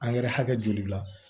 Angɛrɛ hakɛ joli la